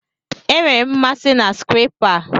Enwere m mmasị na skrepa a.